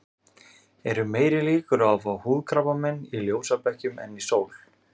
Eru meiri líkur á að fá húðkrabbamein í ljósabekkjum en í sól?